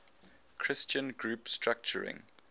christian group structuring